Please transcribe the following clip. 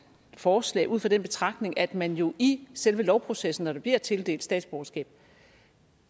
forslag ud fra den betragtning at man jo i selve lovprocessen når der bliver tildelt statsborgerskab